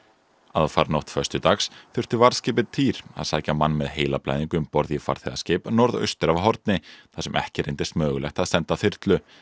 aðfaranótt föstudags þurfti varðskipið týr að sækja mann með heilablæðingu um borð í farþegaskip norðaustur af Horni þar sem ekki reyndist mögulegt að senda þyrlu